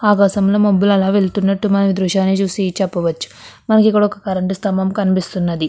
ఆకాశంలో మబ్బులు అలా వెళ్తున్నట్టు మన దృశ్యాన్ని చూసి చెప్పవచ్చు. మనకి ఇక్కడ ఒక కరెంటు స్తంభం కూడా కనిపిస్తున్నది.